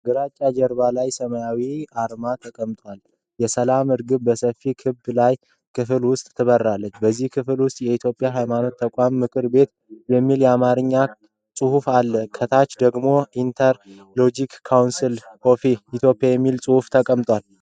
ግራጫ ጀርባ ላይ ሰማያዊ አርማ ተቀምጧል። የሰላም ርግቧ በሰፊ ክብ የላይኛው ክፍል ውስጥ ትበረራለች። በዚያ ክፍል ውስጥ “የኢትዮጵያ የሃይማኖት ተቋማት ምክር ቤት” የሚል የአማርኛ ጽሑፍ አለ። ከታች ደግሞ “ኢንተር-ረሊጂየስ ከውንስል ኦፍ ኢትዮጵያ” የሚል ጽሑፍ ተቀምጧል።